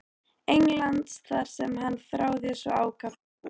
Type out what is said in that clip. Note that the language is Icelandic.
Englands þar sem hann þráði svo ákaft að búa.